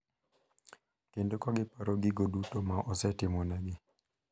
Kendo kagiparo gigo duto ma osetimonegi.